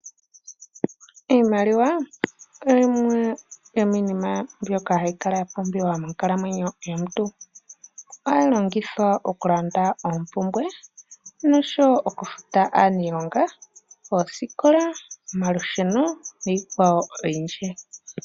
Iimaliwa yimwe yomiinima mbyoka hayi kala ya pumbiwa monkalamwenyo yomuntu, ohayi longithwa okulanda ompumbwe noshowo okufuta aanilonga, oosikola, omalusheno niikwawo oyindji.